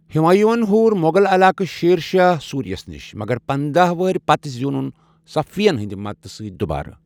ہمایوں یَن ہوٗر مۄغل علاقہٕ شیر شاہ سوریس نِش، مگر پنداہ ؤہرۍ پتہٕ زینُن صفوی ین ہٕنٛدِ مدتہٕ سۭتۍ دوبارٕ۔